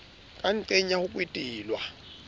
ka nqeng ya ho kwetelwa